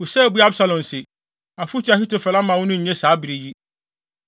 Husai buaa Absalom se, “Afotu a Ahitofel ama wo no nnye saa bere yi.